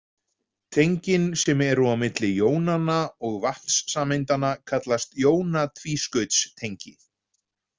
Tengin sem eru á milli jónanna og vatnssameindanna kallast jóna-tvískautstengi.